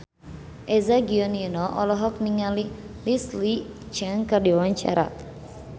Eza Gionino olohok ningali Leslie Cheung keur diwawancara